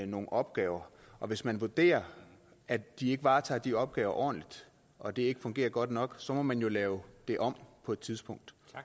nogle opgaver og hvis man vurderer at de ikke varetager de opgaver ordentligt og det ikke fungerer godt nok så må man jo lave det om på et tidspunkt